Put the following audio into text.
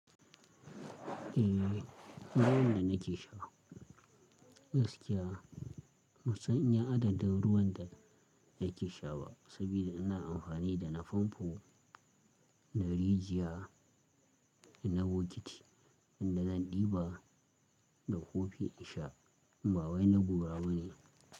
Eh, ruwan da nake sha gaskiya ban san iya adadin ruwan da nake sha ba. Sabida ina amfani da na famfo na rijiya, ina bokiti inda zan ɗiba da kofi in sha. Ba wai na gora ba ne.